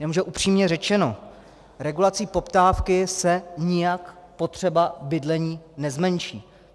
Jenomže upřímně řečeno, regulací poptávky se nijak potřeba bydlení nezmenší.